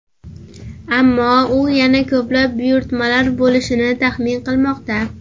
Ammo u yana ko‘plab buyurtmalar bo‘lishini taxmin qilmoqda.